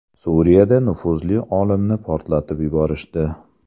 Suriyada nufuzli olimni portlatib yuborishdi.